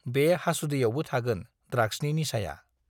बे हासुदैयावबो थागोन ड्राग्सनि निचाया।